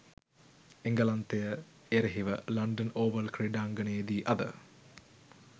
එංගලන්තය එරෙහිව London Oval ක්‍රීඩාංගණයේදී අද